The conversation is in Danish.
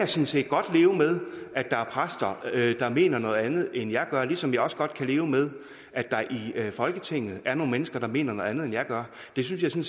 set godt leve med at der er præster der mener noget andet end jeg gør ligesom jeg også godt kan leve med at der i folketinget er nogle mennesker der mener noget andet end jeg gør det synes jeg